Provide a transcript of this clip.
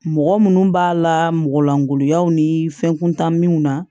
Mɔgɔ minnu b'a la mɔgɔ langoloyaw ni fɛn kuntanw na